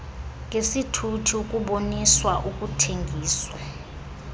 ngesithuthi ukuboniswa ukuthengiswa